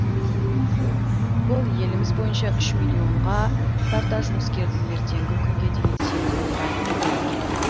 бұл еліміз бойынша үш миллионға тарта жұмыскердің ертеңгі күнге деген сенімін нығайтты делінген